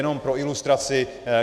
Jenom pro ilustraci.